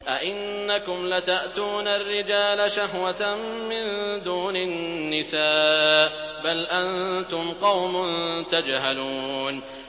أَئِنَّكُمْ لَتَأْتُونَ الرِّجَالَ شَهْوَةً مِّن دُونِ النِّسَاءِ ۚ بَلْ أَنتُمْ قَوْمٌ تَجْهَلُونَ